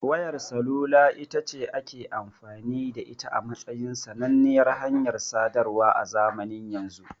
Wayar salula itace ake amfani da ita a matsayin sananniyar hanyar sadarwa a zamanin yanzu.